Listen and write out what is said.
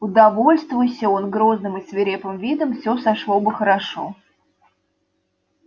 удовольствуйся он грозным и свирепым видом всё сошло бы хорошо